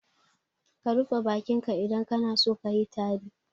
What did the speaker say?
Ka rufe bakin ka idan kana so kayi tari.